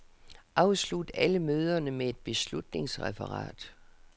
Afslut alle møderne med et beslutningsreferat.